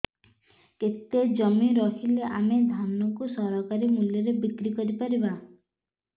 କେତେ ଜମି ରହିଲେ ଆମେ ଧାନ କୁ ସରକାରୀ ମୂଲ୍ଯରେ ବିକ୍ରି କରିପାରିବା